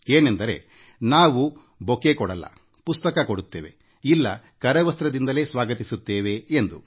ಏನೆಂದರೆ ನಾವು ಹೂಗುಚ್ಛ ಕೊಡುವುದಿಲ್ಲ ಪುಸ್ತಕ ಮಾತ್ರ ಕೊಡುತ್ತೇವೆ ಇಲ್ಲ ಕರವಸ್ತ್ರ ನೀಡಿ ಸ್ವಾಗತಿಸುತ್ತೇವೆ ಎಂದು